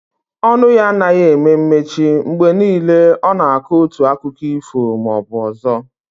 Ọnụ ya anaghị eme mechi, mgbe niile ọ nọ na akọ otu akiko ifo maọbụ ọzọ